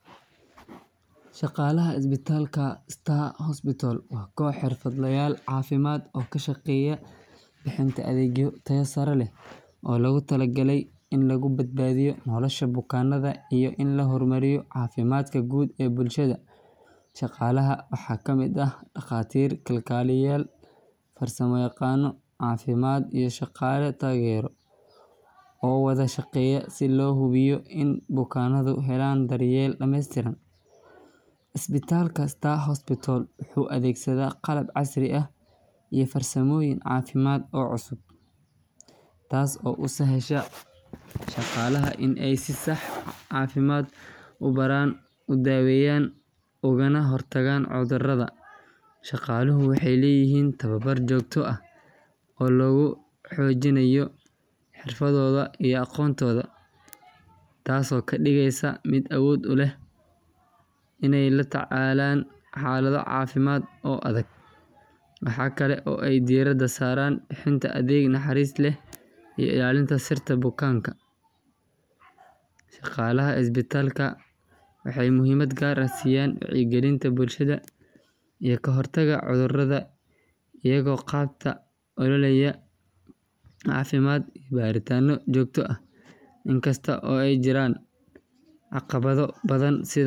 Shaqaalaha isbitaalka Star Hospital waa koox xirfadlayaal caafimaad oo ka shaqeeya bixinta adeegyo tayo sare leh oo loogu talagalay in lagu badbaadiyo nolosha bukaannada iyo in la horumariyo caafimaadka guud ee bulshada. Shaqaalaha waxaa ka mid ah dhakhaatiir, kalkaaliyeyaal, farsamayaqaano caafimaad, iyo shaqaale taageero oo wada shaqeeya si loo hubiyo in bukaannadu helaan daryeel dhameystiran. Isbitaalka Star Hospital wuxuu adeegsadaa qalab casri ah iyo farsamooyin caafimaad oo cusub, taas oo u sahasha shaqaalaha in ay si sax ah u baaraan, u daweeyaan, ugana hortagaan cudurrada. Shaqaaluhu waxay leeyihiin tababar joogto ah oo lagu xoojinayo xirfadooda iyo aqoontooda, taasoo ka dhigaysa mid awood u leh inay la tacaalaan xaalado caafimaad oo adag. Waxa kale oo ay diiradda saaraan bixinta adeeg naxariis leh iyo ilaalinta sirta bukaanka. Shaqaalaha isbitaalka waxay muhiimad gaar ah siiyaan wacyigelinta bulshada iyo ka hortagga cudurrada iyagoo qabta ololayaal caafimaad iyo baaritaanno joogto ah. Inkastoo ay jiraan caqabado badan sida.